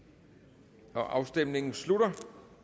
der kan stemmes afstemningen slutter